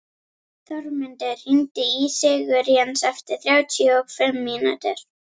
Þormundur, hringdu í Sigurjens eftir þrjátíu og fimm mínútur.